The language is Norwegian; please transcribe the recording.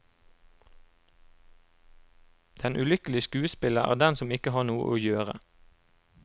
Den ulykkelige skuespiller er den som ikke har noe å gjøre.